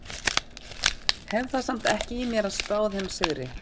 Hef það samt ekki í mér að spá þeim sigri.